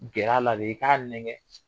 Gɛr'a la de i k'a nɛgɛn.